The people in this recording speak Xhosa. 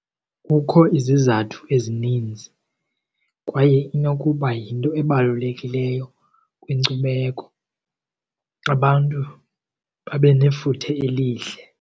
Kukho izizathu ezininzi kwaye inokuba yinto ebalulekileyo kwinkcubeko, abantu babe nefuthe elihle.